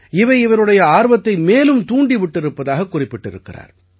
இவை இவருடைய ஆர்வத்தை மேலும் தூண்டி விட்டிருப்பதாகக் குறிப்பிட்டிருக்கிறார்